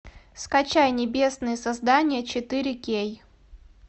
скачай небесные создания четыре кей